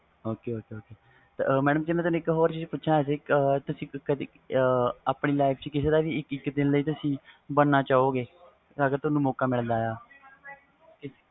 ok ok madam